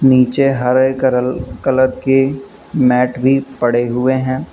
नीचे हरे करल कलर की मैट भी पड़े हुए हैं।